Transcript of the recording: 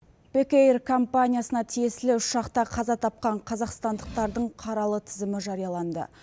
бекэйр компаниясына тиесілі ұшақта қаза тапқан қазақстандықтардың қаралы тізімі жарияланды